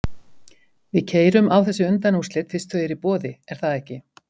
Við keyrum á þessi undanúrslit fyrst þau eru í boði, er það ekki?